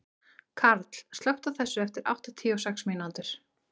Karl, slökktu á þessu eftir áttatíu og sex mínútur.